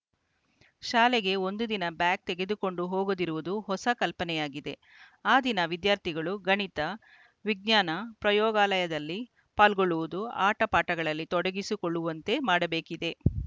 ಶಾಲೆಗೆ ಒಂದು ದಿನ ಬ್ಯಾಗ್‌ ತೆಗೆದುಕೊಂಡು ಹೋಗದಿರುವುದು ಹೊಸ ಕಲ್ಪನೆಯಾಗಿದೆ ಆ ದಿನ ವಿದ್ಯಾರ್ಥಿಗಳು ಗಣಿತ ವಿಜ್ಞಾನ ಪ್ರಯೋಗಾಲಯದಲ್ಲಿ ಪಾಲ್ಗೊಳ್ಳುವುದು ಆಟ ಪಾಠಗಳಲ್ಲಿ ತೊಡಗಿಸಿಕೊಳ್ಳುವಂತೆ ಮಾಡಬೇಕಿದೆ